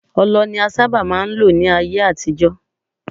Ọlọ ni a sábà máà ń lò ní ayé àtijọ́.